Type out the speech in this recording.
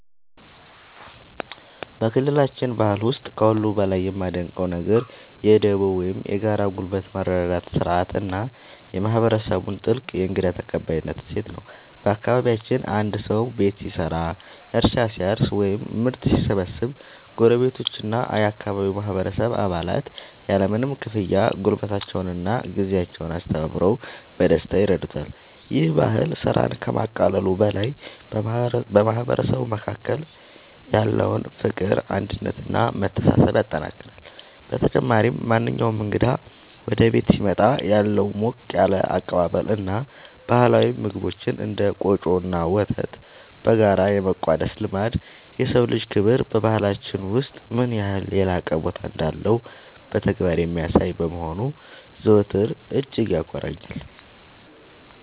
በክልላችን ባህል ውስጥ ከሁሉ በላይ የማደንቀው ነገር የ"ዱቦ" (Dubo) ወይም የጋራ ጉልበት መረዳዳት ሥርዓት እና የማህበረሰቡን ጥልቅ የእንግዳ ተቀባይነት እሴት ነው። በአካባቢያችን አንድ ሰው ቤት ሲሰራ፣ እርሻ ሲያርስ ወይም ምርት ሲሰበስብ ጎረቤቶችና የአካባቢው ማህበረሰብ አባላት ያለምንም ክፍያ ጉልበታቸውንና ጊዜያቸውን አስተባብረው በደስታ ይረዱታል። ይህ ባህል ስራን ከማቃለሉ በላይ በማህበረሰቡ መካከል ያለውን ፍቅር፣ አንድነት እና መተሳሰብ ያጠናክራል። በተጨማሪም፣ ማንኛውም እንግዳ ወደ ቤት ሲመጣ ያለው ሞቅ ያለ አቀባበል እና ባህላዊ ምግቦችን (እንደ ቆጮ እና ወተት) በጋራ የመቋደስ ልማድ፣ የሰው ልጅ ክብር በባህላችን ውስጥ ምን ያህል የላቀ ቦታ እንዳለው በተግባር የሚያሳይ በመሆኑ ዘወትር እጅግ ያኮራኛል።